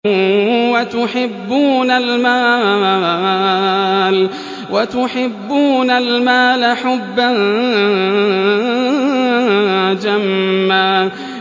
وَتُحِبُّونَ الْمَالَ حُبًّا جَمًّا